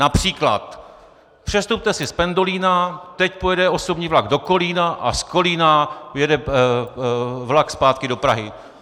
Například: Přestupte si z pendolina, teď pojede osobní vlak do Kolína a z Kolína pojede vlak zpátky do Prahy.